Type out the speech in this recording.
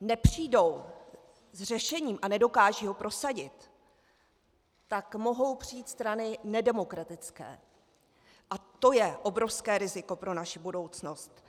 nepřijdou s řešením a nedokážou ho prosadit, tak mohou přijít strany nedemokratické a to je obrovské riziko pro naši budoucnost.